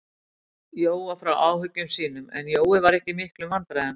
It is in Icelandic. Jóa frá áhyggjum sínum, en Jói var ekki í miklum vandræðum.